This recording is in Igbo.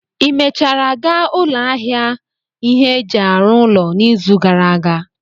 Ị mechara gaa ụlọ ahịa ihe eji arụ ụlọ n'izu gara aga?